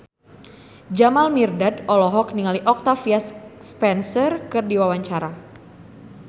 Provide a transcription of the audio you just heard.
Jamal Mirdad olohok ningali Octavia Spencer keur diwawancara